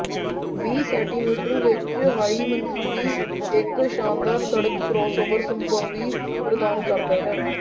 ਵੀਹ ਸੈਟੀਮੀਟਰ ਵਿਚ ਹਾਈ ਮਨਜ਼ੂਰੀ ਇੱਕ ਸ਼ਾਨਦਾਰ ਸੜਕ ਕਰਾਸਓਵਰ ਸੰਭਾਵੀ ਪ੍ਰਦਾਨ ਕਰਦਾ ਹੈ